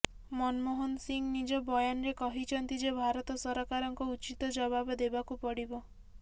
ମନମୋହନ ସିଂହ ନିଜ ବୟାନରେ କହିଛନ୍ତି ଯେ ଭାରତ ସରକାରଙ୍କ ଉଚିତ ଜବାବ ଦେବାକୁ ପଡିବ